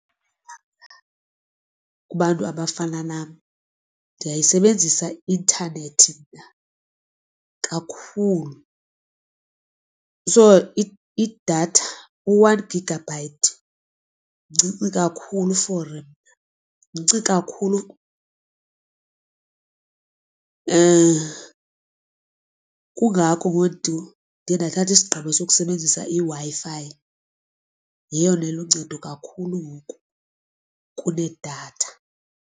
Kubantu abafana nam ndiyayisebenzisa i-intanethi mna kakhulu. So idatha u-one gigabyte mncinci kakhulu for mna. Mncinci kakhulu kungako ndiye ndathatha isigqibo sokusebenzisa iWi-Fi yeyona iluncedo kakhulu kunedatha.